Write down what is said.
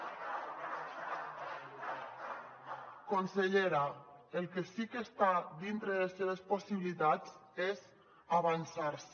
consellera el que sí que està dintre de les seves possibilitats és avançar se